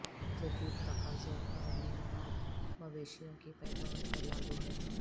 جدید تقاضوں اور معیارات مویشیوں کی پیداوار پر لاگو ہے